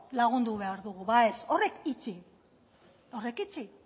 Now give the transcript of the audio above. lagundu behar dugu ba ez horiek itxi horiek itxi